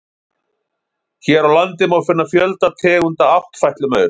Hér á landi má finna fjölda tegunda áttfætlumaura.